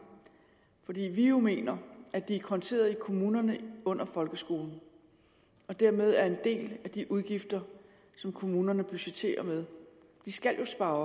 fordi vi mener at de er konteret i kommunerne under folkeskolen og dermed er en del af de udgifter som kommunerne budgetterer med de skal jo spare